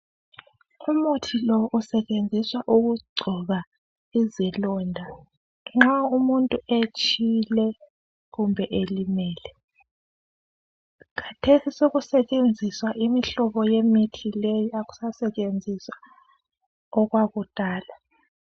Umuthi lo usetshenziswa ukugcoba izilonda nxa umuntu etshile kumbe elimele. Khathesi sokusetshenziswa imihlobo yemithi le akusasetshenziswa okwakudala.